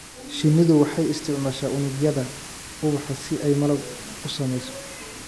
Shinnidu waxay isticmaashaa unugyada ubaxa si ay malab u samayso.